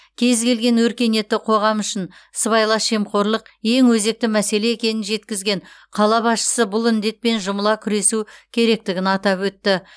кез келген өркениетті қоғам үшін сыбайлас жемқорлық ең өзекті мәселе екенін жеткізген қала басшысы бұл індетпен жұмыла күресу керегін атап өтті